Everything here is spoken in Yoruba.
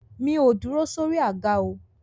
Mi ò dúró sórí àga o.